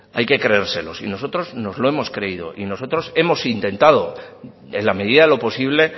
hay que creérselo y nosotros nos lo hemos creído y nosotros hemos intentado en la medida de lo posible